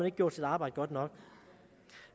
ikke gjort sit arbejde godt nok